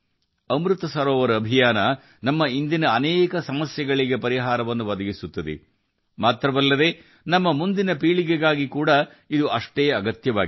ಅಮೃತ್ ಸರೋವರ ಅಭಿಯಾನವು ಇಂದಿನ ನಮ್ಮ ಅನೇಕ ಸಮಸ್ಯೆಗಳನ್ನು ಮಾತ್ರ ಪರಿಹರಿಸುವುದಿಲ್ಲ ಇದು ನಮ್ಮ ಮುಂದಿನ ಪೀಳಿಗೆಗೆ ಕೂಡಾ ಅಷ್ಟೇ ಅವಶ್ಯಕ